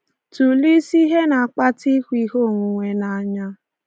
Tụlee isi ihe na-akpata ịhụ ihe onwunwe n’anya.